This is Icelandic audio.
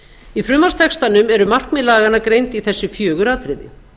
í frumvarpstextanum eru markmið laganna greind í þessi fjögur atriði